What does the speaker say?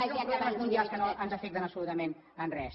això són problemes mundials que no ens afecten absolutament en res